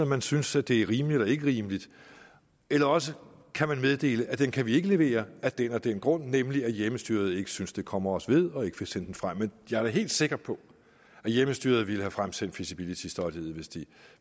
man synes at det er rimeligt eller ikke rimeligt eller også kan man meddele at den kan man ikke levere af den og den grund nemlig at hjemmestyret ikke synes at det kommer os ved og ikke vil sende det frem men jeg er da helt sikker på at hjemmestyret ville have fremsendt det feasibility study hvis de